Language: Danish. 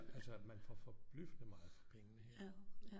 Altså man får forbløffende meget for pengene her